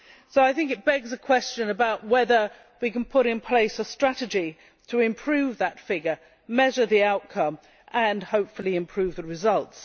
So this begs a question about whether we can put in practice a strategy to improve that figure, measure the outcome and, hopefully, improve the results.